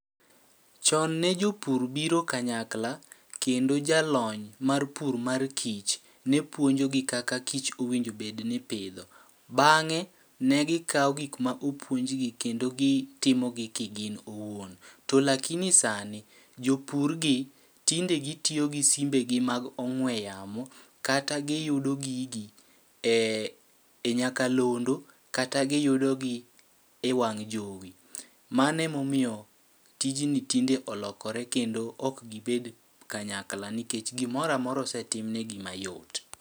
Chon ne jopur biro kanyakla, kendo jalony mar pur mar kich ne puonjogi kaka kich owinjo obed ni pidho. Bang'e, ne gikawo gikma opuonjgi kendo gi timo gi kigin owuon. To lakini sani, jopur gi tinde gitiyo gi simbe gi mag ong'we yamo kata giyudo gigi e e nyakalondo kata giyudo gi e wang' jowi. Mane momiyo tijni tinde olokore kendo ok gibed kanyakla nikech gimora mora osetim negi mayot.